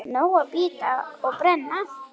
Nóg að bíta og brenna.